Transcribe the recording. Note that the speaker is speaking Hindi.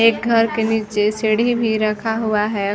एक घर के निचे सीढ़ी भी रखा हुआ है।